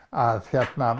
að